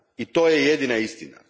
I to je jedina istina.